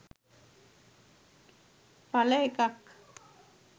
එලඑකක්.